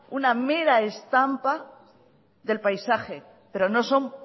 una mera estampa del paisaje pero no son